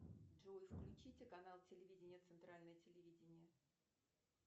джой включите канал телевидения центральное телевидение